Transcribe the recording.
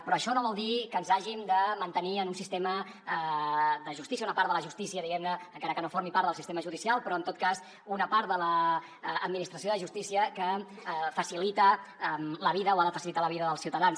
però això no vol dir que ens hàgim de mantenir en un sistema de justícia una part de la justícia diguem ne encara que no formi part del sistema judicial però en tot cas una part de l’administració de justícia que facilita la vida o ha de facilitar la vida dels ciutadans